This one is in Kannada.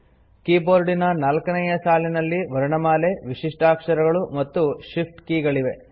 ಕೀಬೋರ್ಡಿನ ನಾಲ್ಕನೇಯ ಸಾಲಿನಲ್ಲಿ ವರ್ಣಮಾಲೆ ವಿಶಿಷ್ಟಾಕ್ಷರಗಳು ಮತ್ತು shift ಕೀ ಗಳಿವೆ